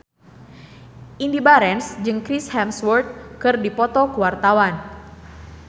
Indy Barens jeung Chris Hemsworth keur dipoto ku wartawan